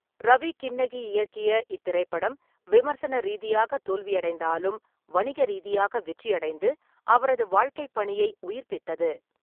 ரவி கின்னகி இயக்கிய இத்திரைப்படம் விமர்சன ரீதியாக தோல்வியடைந்தாலும், வணிக ரீதியாக வெற்றியடைந்து அவரது வாழ்க்கைப்பணியை உயிர்ப்பித்தது.